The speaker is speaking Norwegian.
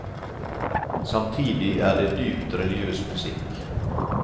Samtidig er det dypt religiøs musikk.